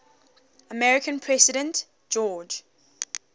american president george